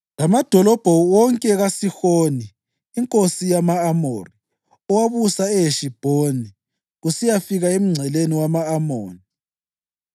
lamadolobho wonke kaSihoni inkosi yama-Amori, owabusa eHeshibhoni, kusiyafika emngceleni wama-Amoni.